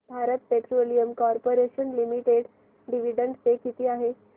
Bharat petroleum corporation limited dividend pay किती आहे